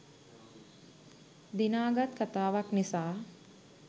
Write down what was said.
දිනාගත් කතාවක් නිසා.